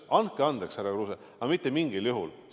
Andke andeks, härra Kruuse, aga mitte mingil juhul!